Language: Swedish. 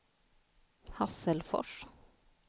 Hasselfors